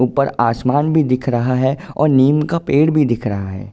ऊपर आसमान भी दिख रहा है और नीम का पेड़ भी दिख रहा है।